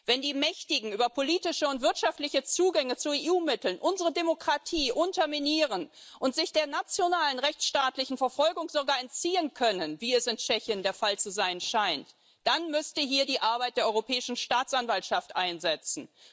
Wenn die Mächtigen über politische und wirtschaftliche Zugänge zu EU Mitteln unsere Demokratie unterminieren und sich der nationalen rechtsstaatlichen Verfolgung sogar entziehen können, wie es in Tschechien der Fall zu sein scheint, dann müsste hier die Arbeit der Europäischen Staatsanwaltschaft einsetzen.